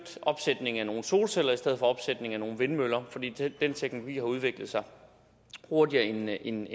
opsætningen af nogle solceller i stedet for opsætningen af nogle vindmøller fordi den teknologi har udviklet sig hurtigere end